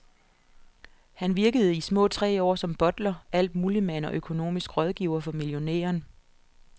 Han virkede i små tre år som butler, altmuligmand og økonomisk rådgiver for millionæren.